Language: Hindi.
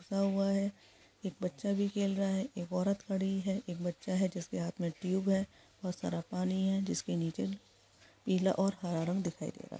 एक बच्चा भी खेल रहा है एक औरत खड़ी है एक बच्चा है जिसके हाथ में ट्यूब है बहुत सारा पानी है जिसके नीचे पीला और हरा रंग दिखाई दे रहा है ।